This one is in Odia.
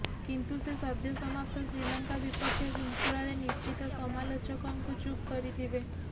କିନ୍ତୁ ସେ ସଦ୍ୟ ସମାପ୍ତ ଶ୍ରୀଲଙ୍କା ବିପକ୍ଷ ଶୃଙ୍ଖଳାରେ ନିଶ୍ଚିତ ସମାଲୋଚକଙ୍କୁ ଚୁପ୍ କରିଥିବେ